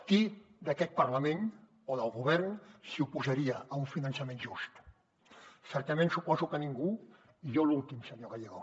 qui d’aquest parlament o del govern s’hi oposaria a un finançament just certament suposo que ningú i jo l’últim senyor gallego